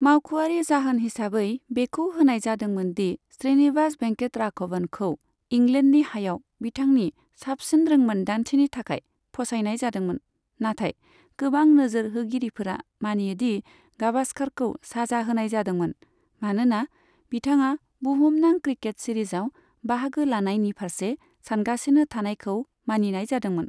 मावख'आरि जाहोन हिसाबै बेखौ होनाय जादोंमोन दि श्रीनिवास भेंकटराघवनखौ इंलेन्डनि हायाव बिथांनि साबसिन रोंमोन्दांथिनि थाखाय फसायनाय जादोंमोन, नाथाय गोबां नोजोर होगिरिफोरा मानियो दि गाभास्कारखौ साजा होनाय जादोंमोन, मानोना बिथाङा बुहुमनां क्रिकेट सीरीजआव बाहागो लानायनि फारसे सानगासिनो थानायखौ मानिनाय जादोंमोन।